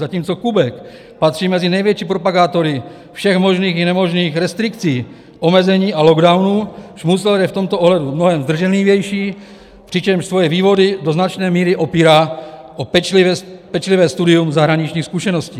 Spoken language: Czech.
Zatímco Kubek patří mezi největší propagátory všech možných i nemožných restrikcí, omezení a lockdownů, Šmucler je v tomto ohledu mnohem zdrženlivější, přičemž svoje vývody do značné míry opírá o pečlivé studium zahraničních zkušeností.